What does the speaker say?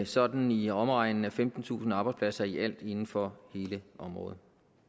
sådan i omegnen af femtentusind arbejdspladser i alt inden for hele området